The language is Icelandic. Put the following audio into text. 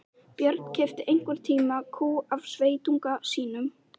Björn keypti einhvern tíma kú af sveitunga sínum.